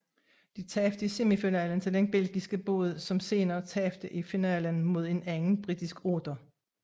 De tabte i semifinalen til den belgiske båd som senere tabte i finalen mod en anden britisk otter